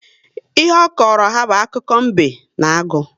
Ihe ọ kọrọ ha bụ akiko mbe na agụ